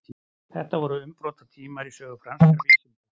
þetta voru umbrotatímar í sögu franskra vísinda